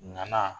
Nana